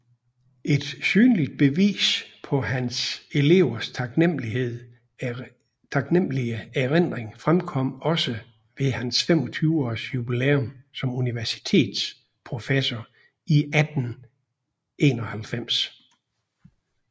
Et synligt bevis på hans elevers taknemmelige erindring fremkom også ved hans 25 års jubilæum som universitetsprofessor i 1891